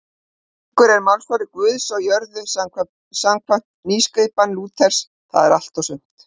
Konungur er málsvari Guðs á jörðu samkvæmt nýskipan Lúters, það er allt og sumt.